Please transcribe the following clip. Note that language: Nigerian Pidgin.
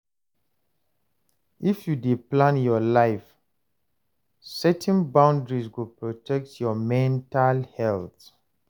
If you dey plan your life, setting boundaries go protect your mental health